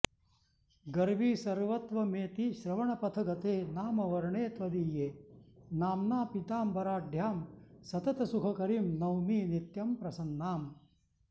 गर्वी सर्वत्वमेति श्रवणपथगते नामवर्णे त्वदीये नाम्ना पीताम्बराढ्यां सततसुखकरीं नौमि नित्यं प्रसन्नाम्